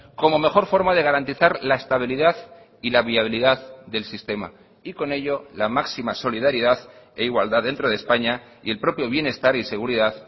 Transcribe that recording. como mejor forma de garantizar la estabilidad y la viabilidad del sistema y con ello la máxima solidaridad e igualdad dentro de españa y el propio bienestar y seguridad